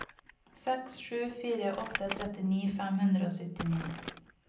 seks sju fire åtte trettini fem hundre og syttini